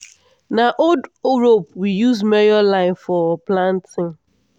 na old rope we use measure line for planting.